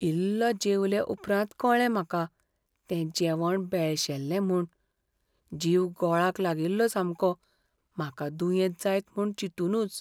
इल्लो जेवले उपरांत कळ्ळें म्हाका तें जेवण भेळशेल्लें म्हूण. जीव गोळाक लागिल्लो सामको म्हाका दुयेंत जायत म्हूण चिंतूनच.